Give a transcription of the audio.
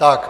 Tak.